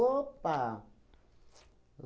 Opa!